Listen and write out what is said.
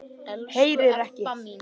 Heyrir ekki.